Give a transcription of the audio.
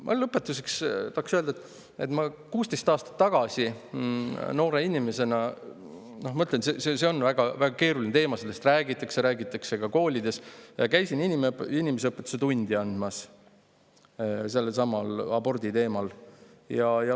Ma lõpetuseks tahan öelda, et 16 aastat tagasi käisin noore inimesena – see on väga-väga keeruline teema ja sellest räägitakse ka koolides – inimeseõpetuse tunnis sellelsamal abordi teemal.